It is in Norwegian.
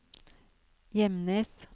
Gjemnes